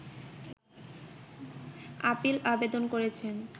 appeal আবেদন করেছেন